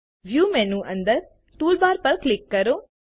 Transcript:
view menu અંદર toolbars પર click કરો